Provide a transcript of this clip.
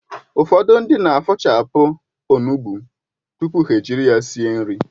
Ụfọdụ ndị na-afọ̀chapụ onugbụ tupu ha ejiri ya sie nri